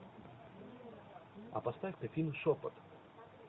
а поставь ка фильм шепот